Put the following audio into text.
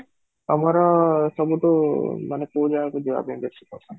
ତମର ସବୁଠୁ ମାନେ କୋଉ ଜାଗା କୁ ଯିବା ପାଇଁ ବେଶୀ ପସନ୍ଦ?